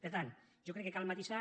per tant jo crec que cal matisar